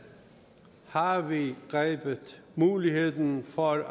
har vi grebet muligheden for at